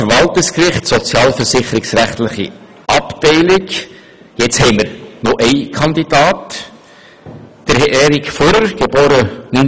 Zum Verwaltungsgericht, sozialversicherungsrechtliche Abteilung: Hier haben wir noch einen Kandidaten, nämlich Erik Furrer, geboren 1979.